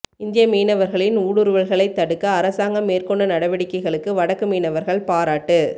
இந்திய மீனவர்களின் ஊடுருவல்களைத் தடுக்க அரசாங்கம் மேற்கொண்ட நடவடிக்கைகளுக்கு வடக்கு மீனவர்கள் பாராட்டு